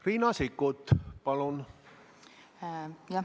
Riina Sikkut, palun!